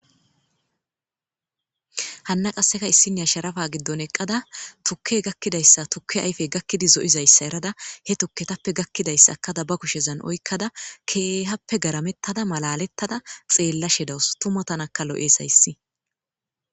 hanna qasseka issinea sharafa giddon eqqada tukke gakkidayssa tukke ayfey gakkidi zo7izayssa erada he tukke tappe gakkidayssa akada ba kushezan oykkada keehappe garamettada malalettada xeellashedawus tumatanaka lo7eeshayssi